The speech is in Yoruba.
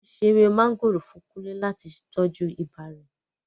Wọn ṣe èwe mọ̀ngòrò fún kúnle láti tọju ibà rẹ̀